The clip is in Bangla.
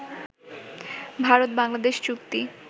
ভারত-বাংলাদেশ চুক্তি